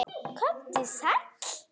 Komdu sæll.